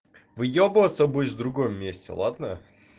выёбываться будешь в другом месте ладно